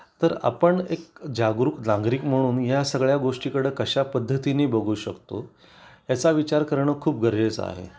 तर आपण एक जागरूक नागरिक म्हणून या सगळ्या गोष्टी कडे कशा पद्धतीने बघू शकतो याचा विचार करणं खूप गरजेचं आहे